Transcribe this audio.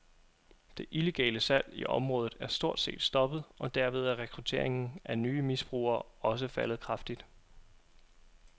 Det illegale salg i området er stort set stoppet, og derved er rekrutteringen af nye misbrugere også faldet kraftigt.